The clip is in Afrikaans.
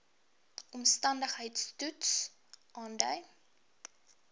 omstandigheids toets aandui